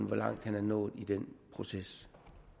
hvor langt han er nået i den proces